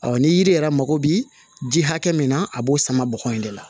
ni yiri yɛrɛ mago bɛ ji hakɛ min na a b'o sama bɔgɔ in de la